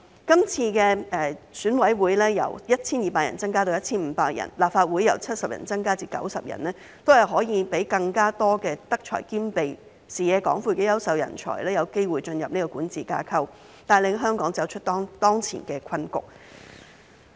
今次選委會由 1,200 人增至 1,500 人，立法會由70席增至90席，都是可以讓更多德才兼備、視野廣闊的優秀人才有機會進入管治架構，帶領香港走出當前的困局。